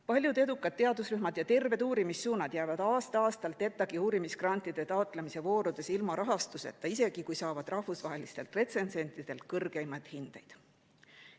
Paljud edukad teadusrühmad ja terved uurimissuunad jäävad aasta-aastalt ETAg‑i uurimisgrantide taotlemise voorudes ilma rahastuseta, isegi kui saavad rahvusvahelistelt retsensentidelt kõrgeimaid hindeid.